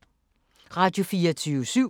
Radio24syv